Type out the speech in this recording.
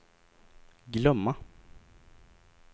glömma